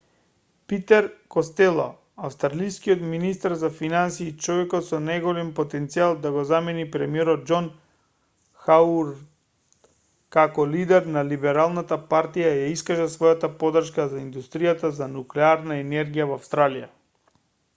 питер костело австралискиот министер за финансии и човекот со најголем потенцијал да го замени премиерот џон хауард како лидер на либералната партија ја искажа својата поддршка за индустрија за нуклеарна енергија во австралија